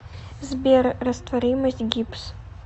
сбер растворимость гипс